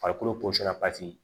Farikolo